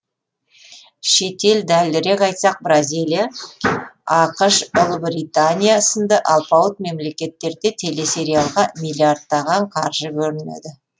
шетел дәлірек айтсақ бразилия ақш ұлыбритания сынды алпауыт мемлекеттерде телесериалға миллиярдтаған қаржы бөлінеді